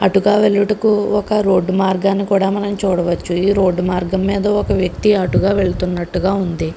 అటుగా వెళ్ళుటకు ఒక రోడ్డు మార్గాన్ని కూడా మనం చూడవచ్చు ఈ రోడ్డు మార్గం మీద ఒక వ్యక్తి అటుగా వెళుతున్నట్లుగా ఉంది.